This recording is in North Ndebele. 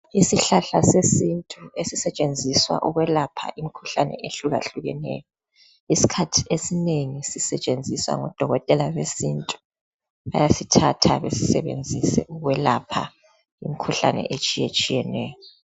Isihlahla sesintu esisetshenziswa ukwelapha imkhuhlane ehlukahlukeneyo, iskhathi esinengi sisetshenziswa ngodokotela besintu bayasithatha besisebenzise ukwelapha imkhuhlane etshiyetshiyeneyo.